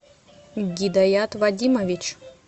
гидаят вадимович